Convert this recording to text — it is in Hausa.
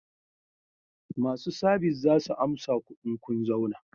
Masu sabis za su amsa ku in kun zauna